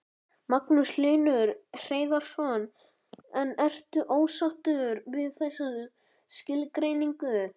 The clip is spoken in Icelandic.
Magnús Hlynur Hreiðarsson: En ertu ósáttur við þessa skilgreiningu?